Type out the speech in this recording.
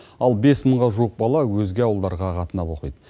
ал бес мыңға жуық бала өзге ауылдарға қатынап оқиды